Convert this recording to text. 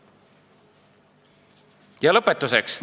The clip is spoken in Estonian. Ma arvan, et paari viimase aasta jooksul on 30–40 maapoodi hingusele läinud.